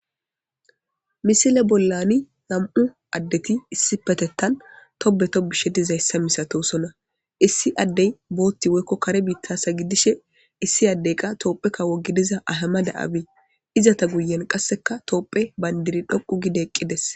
misile bollani nam7u addeti issi petettan tobe to bishe dizayssa misatosonna issi addey bootti woykko kare biittasa gidishe issi addey qa toophe kawo gidiza ahama da7abee iza ta guyen qasseka toopphe bayndiri dhoqu gide eqqides.